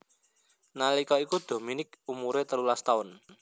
Nalika iku Dominique umuré telulas taun